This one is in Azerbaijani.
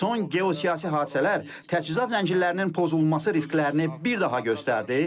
Son geosiyasi hadisələr təchizat zəncirlərinin pozulması risklərini bir daha göstərdi.